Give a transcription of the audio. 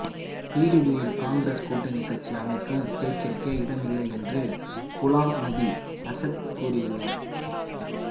பிடிபியுன் Congress கூட்டணி கட்சி அமைக்கும் பேச்சுக்கே இடமில்லை என்று குலாம் நபி ஆசாத் கூறியுள்ளார்